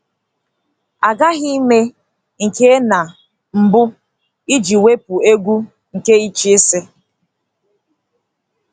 A ghaghị ime nke a na mbụ iji wepụ egwu nke ịchịisi.